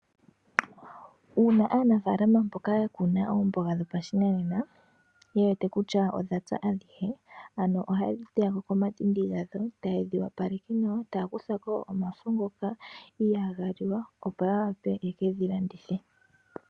Uuna aanafaalama mboka yakuna oomboga dhopashinanena yewete kutya odhapya adhihe oha yedhi teya komatindi gawo taya kuthako omafo ngoka ihaga liwa opo yawape yekedhi landithepo.